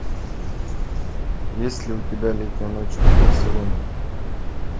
есть ли у тебя летняя ночь в барселоне